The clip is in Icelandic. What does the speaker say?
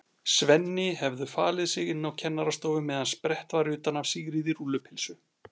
Svenni hefðu falið sig inni á kennarastofu meðan sprett var utan af Sigríði rúllu- pylsu.